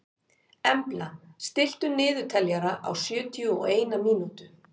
Embla, stilltu niðurteljara á sjötíu og eina mínútur.